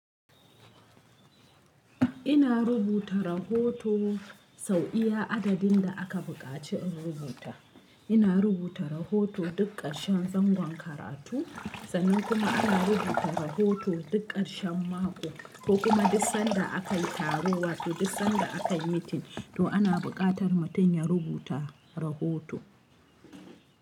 Ina rubuta rahoto sau iya adadin da aka buƙaci in rubuta. Ina rubuta rahoto duk ƙarshen zangon karatu sannan kuma ana rubuta rahoto duk ƙarshen mako ko kuma duk sanda aka yi taro wa to duk sanda aka yi meeting. To ana buƙatar mutum ya rubuta rahoto.